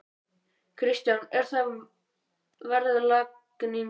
Kristján: Er það verðlagningin?